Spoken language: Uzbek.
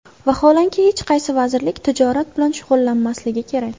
Vaholanki, hech qaysi vazirlik tijorat bilan shug‘ullanmasligi kerak.